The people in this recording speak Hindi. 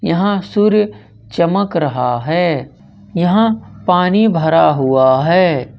यहां सूर्य चमक रहा है यहां पानी भरा हुआ है ।